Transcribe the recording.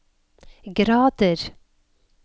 grader